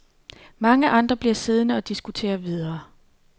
Mange andre bliver siddende og diskuterer videre.